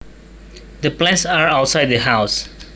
The plants are outside the house